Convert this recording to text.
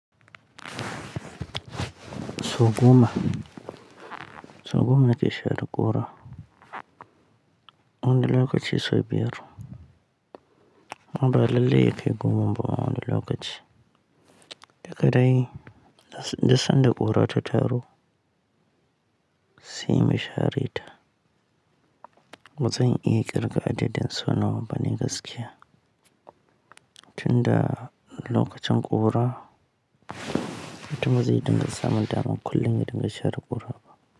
Sau goma, sau goma nake share ƙura. Wani lokaci sau biyar. Ba lallai yakai goman ba wani lokaci. Daka dai da sanda ƙura ta taru sai mu share ta. Ba zan iya ƙirga adadin sau nawa bane gaskiya. Tunda lokacin ƙura, mutum bazai dinga samun daman kullum ya dinga share ƙura ba.